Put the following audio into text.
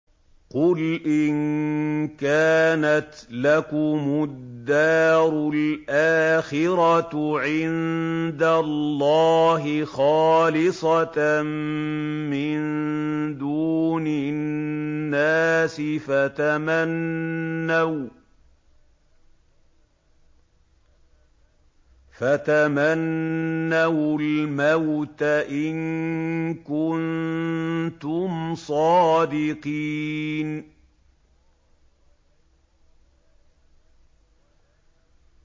قُلْ إِن كَانَتْ لَكُمُ الدَّارُ الْآخِرَةُ عِندَ اللَّهِ خَالِصَةً مِّن دُونِ النَّاسِ فَتَمَنَّوُا الْمَوْتَ إِن كُنتُمْ صَادِقِينَ